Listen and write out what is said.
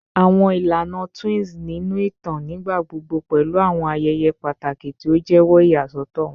Awọn ilana twins ninu itan nigbagbogbo pẹlu awọn ayẹyẹ pataki ti o jẹwọ iyasọtọ wọn